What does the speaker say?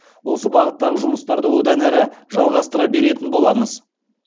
осы бағыттағы жұмыстарды одан әрі жалғастыра беретін боламыз